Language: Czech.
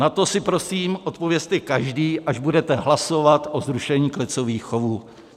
Na to si prosím odpovězte každý, až budete hlasovat o zrušení klecových chovů.